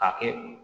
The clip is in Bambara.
K'a kɛ